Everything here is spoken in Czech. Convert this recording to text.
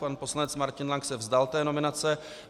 Pan poslanec Martin Lank se vzdal té nominace.